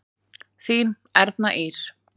Þín Erna Ýr.